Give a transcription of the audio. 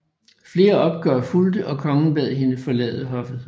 Flere opgør fulgte og kongen bad hende forlade hoffet